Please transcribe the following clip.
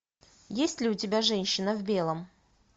есть ли у тебя женщина в белом